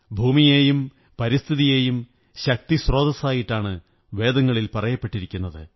ഭൂമിയെയും പരിസ്ഥിതിയെയും ശക്തിസ്രോതസ്സായിട്ടാണ് വേദങ്ങളിൽ പറയപ്പെട്ടിരിക്കുന്നത്